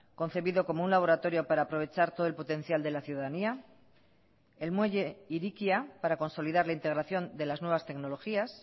concebido como un laboratorio para aprovechar todo el potencial de la ciudadanía el muelle hirikia para consolidar la integración de las nuevas tecnologías